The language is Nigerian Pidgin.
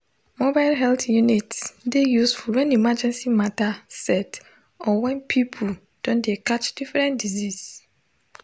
mobile health units dey useful when emergency matter set or when when people don dey catch different diseases